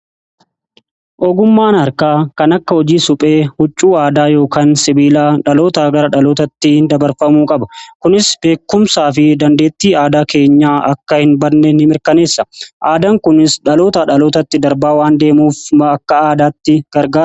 ogummaan harkaa kan akka hojii suphee, huccuuaadaa yookaan sibiilaa dhaloota gara dhalootatti dabarfamuu qaba. kunis beekumsaa fi dandeetti aadaa keenya akka hin badne ni mirkaneessa. aadaan kunis dhaloota dhalootatti darbaa waan deemuuf akka aadaatti gargaara.